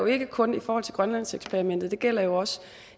ikke kun i forhold til grønlandseksperimentet det gælder jo også